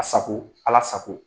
A sago, ala sago!